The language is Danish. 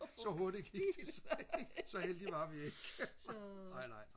så hurtigt gik det så ikke så heldige var vi ikke nej nej